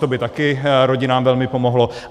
To by také rodinám velmi pomohlo.